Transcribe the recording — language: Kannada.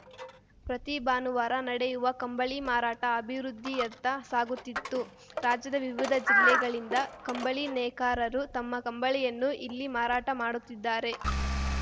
ಪ್ರತಿ ಭಾನುವಾರ ನಡೆಯುವ ಕಂಬಳಿ ಮಾರಾಟ ಅಭಿವೃದ್ಧಿಯತ್ತ ಸಾಗುತ್ತಿತ್ತು ರಾಜ್ಯದ ವಿವಿಧ ಜಿಲ್ಲೆಗಳಿಂದ ಕಂಬಳಿ ನೇಕಾರರು ತಮ್ಮ ಕಂಬಳಿಯನ್ನು ಇಲ್ಲಿ ಮಾರಾಟ ಮಾಡುತ್ತಿದ್ದಾರೆ